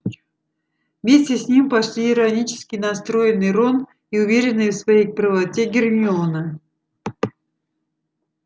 вместе с ним пошли иронически настроенный рон и уверенная в своей правоте гермиона